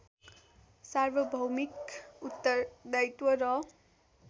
सार्वभौमिक उत्तरदायित्व र